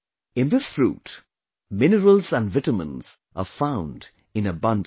In this fruit, minerals and vitamins are found in abundance